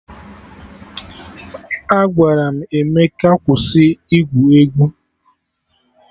Agwara m Emeka kwụsị igwu egwu!